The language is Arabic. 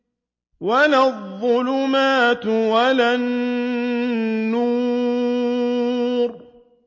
وَلَا الظُّلُمَاتُ وَلَا النُّورُ